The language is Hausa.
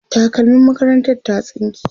takalmim makarantar ta ta tsinke